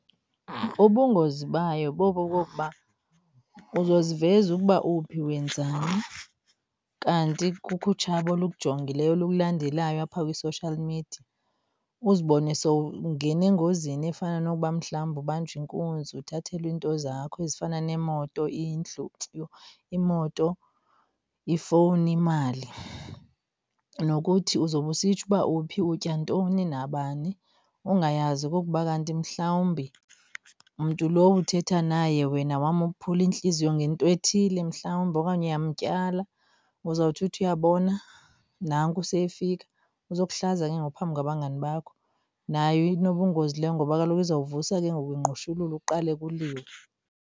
Ubungozi bayo bobu bokuba uzoziveza ukuba uphi wenzani kanti kukho utshaba olukujongileyo olukulandelayo apha kwi-social media. Uzibone sowungena engozini efana nokuba mhlawumbi ubanjwe inkunzi, uthathelwe into zakho ezifana nemoto, indlu. Yho! Imoto, ifowuni, imali. Nokuthi uzobe usitsho uba uphi, utya ntoni nabani ungayazi okokuba kanti mhlawumbi mntu lowo uthetha naye wena wamophula intliziyo ngento ethile mhlawumbi okanye uyamtyala. Uzawuthi uthi uyabona nanku seyefika uzokuhlaza ke ngoku phambi kwabangani bakho. Nayo inobungozi leyo ngoba kaloku izawuvusa ke ngoku ingqushululu kuqale kuliwe.